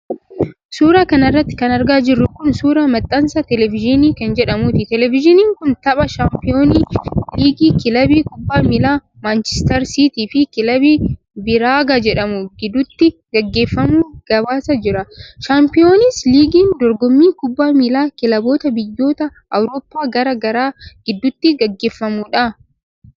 Suura kana irratti kan argaa jirru kun, suura maxxansa teleevizyinii keen jedhamuuti. Teleevizyiniin kun, tapha shaampiyoons liigii kilabii kubbaa miilaa maanchistar siitii fi kilab biraagaa jedhamu gidduutti gaggeeffamu gabaasaa jira. Shaampiyoons liigin dorgommii kubbaa miilaa kilaboota biyyoota Awrooppaa garaa garaa gidduutti gaggeeffamuudha.